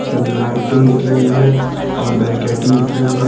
ल लाइटिंग दिख रही है और बैरिकेटिंग दिख रही है।